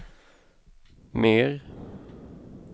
mer